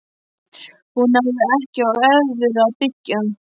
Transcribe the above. Hún hafði ekki á öðru að byggja.